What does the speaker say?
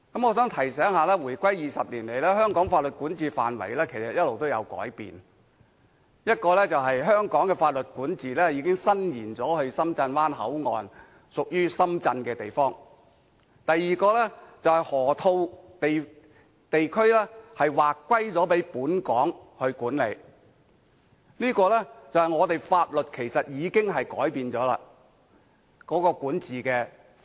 我想提醒一下，回歸20年來，香港法律管轄範圍其實一直有改變：第一，香港的法律管轄已伸延至深圳灣口岸，屬於深圳的地方；第二，河套地區劃歸給本港管理，顯示香港法律的管轄範圍其實已經改變了。